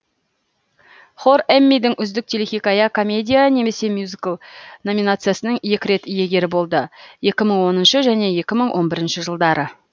хор эммидің үздік телехикая комедия немесе мюзикл номициясының екі рет иегері болды